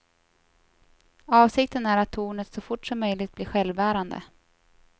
Avsikten är att tornet så fort som möjligt blir självbärande.